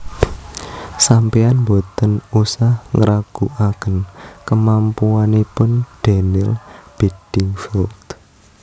Sampean mboten usah ngraguaken kemampuanipun Daniel Beddingfield